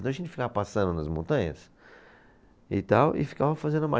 Então a gente ficava passando nas montanhas e tal e ficava fazendo.